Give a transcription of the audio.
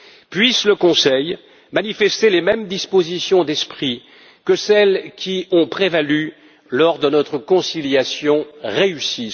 Puisse le Conseil manifester les mêmes dispositions d'esprit que celles qui ont prévalu lors de notre conciliation réussie.